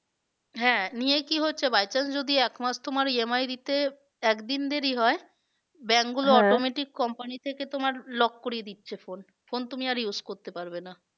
হ্যাঁ নিয়ে কি হচ্ছে by chance যদি একমাস তোমার EMI দিতে একদিন দেরি হয় bank company থেকে তোমার lock করিয়ে দিচ্ছে phone, phone তুমি আর use করতে পারবে না।